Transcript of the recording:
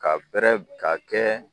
Ka bɛrɛ ka kɛ